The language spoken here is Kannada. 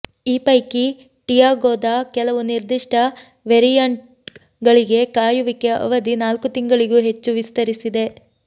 ಈ ಪೈಕಿ ಟಿಯಾಗೊದ ಕೆಲವು ನಿರ್ದಿಷ್ಟ ವೆರಿಯಂಟ್ ಗಳಿಗೆ ಕಾಯುವಿಕೆ ಅವಧಿ ನಾಲ್ಕು ತಿಂಗಳಿಗೂ ಹೆಚ್ಚು ವಿಸ್ತರಿಸಿದೆ